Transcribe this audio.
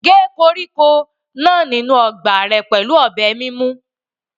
Gé koríko náà sínú ọgbà rẹ pẹ̀lú ọ̀bẹ mímú.